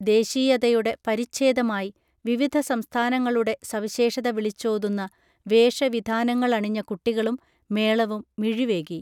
ദേശീയതയുടെ പരിച്ഛേദമായി വിവിധ സംസ്ഥാനങ്ങളുടെ സവിശേഷത വിളിച്ചോതുന്ന വേഷ വിധാനങ്ങളണിഞ്ഞ കുട്ടികളും മേളവും മിഴിവേകി